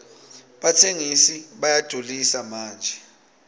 batsengisi bayadulisa manje